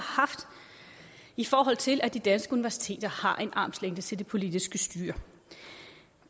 haft i forhold til at de danske universiteter har en armslængde til det politiske styre